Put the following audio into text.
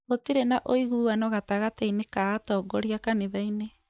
Gũtirĩ na ũiguano gatagatĩ-inĩ ka atongoria kanithainĩ